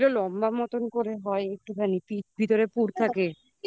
ওই যেগুলো লম্বা মতন করে হয় একটুখানি ভিতরে পুড় থাকে